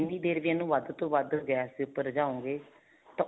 ਦੇਰ ਵੀ ਇਹਨੂੰ ਵੱਧ ਤੋਂ ਵੱਧ ਗੈਸ ਦੇ ਉੱਪਰ ਰਝਾਓਗੇ ਤਾਂ